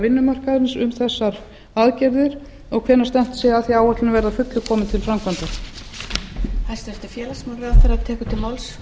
vinnumarkaðarins um að gerðar verði sambærilegar framkvæmdaáætlanir sem taki til almenna vinnumarkaðarins fjórða hvenær er stefnt að því að áætlunin verði að fullu komin til framkvæmda